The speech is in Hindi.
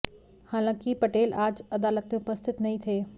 हालांकि पटेल आज अदालत मेें उपस्थित नहीं थे